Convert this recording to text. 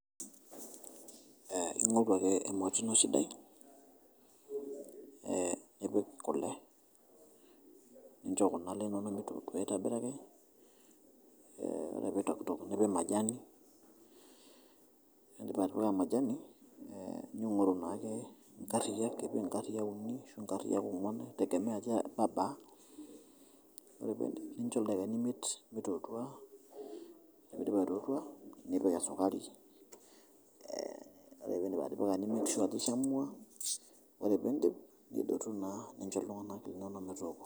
Ing'oru ake emoti ino sidai nipik kule nincho kule inono meiturukuto aitobiraki, ore peitoktok nipik majani, ore piindip atipika majani, ningoru naake nkariyak aji nkariyak uni ashu nkariyak ongwan eitegemea ajo aja ibabaa, nincho ldakikani imiet meitotua, ore peidip aitotua nipik esukari, ore piindip atipika ni make sure eitotua ore piindip nidotu naa ninsho ltunganak linono metooko